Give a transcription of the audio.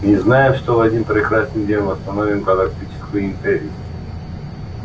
мы знаем что в один прекрасный день восстановим галактическую империю